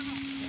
Döndü.